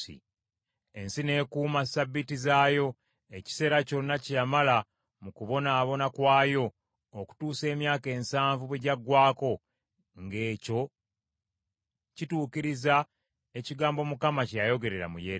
Ensi n’ekuuma ssabbiiti zaayo, ekiseera kyonna kye yamala mu kubonaabona kwayo okutuusa emyaka ensanvu bwe gyagwako, ng’ekyo kituukiriza ekigambo Mukama kye yayogera mu Yeremiya.